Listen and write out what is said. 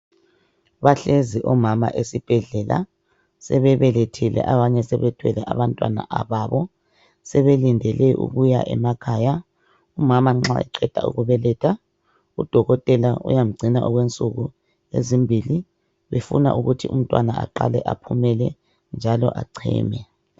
Bahlezi omama esibhedlela sebebelethile abanye sebethwele abantwababo sebelindele ukuya emakhaya umama nxa eqeda ukubeletha udokotela uyamgcina okwensuku ezimbili befuna ukuthi umntwana aqale aphumele njalo echeme.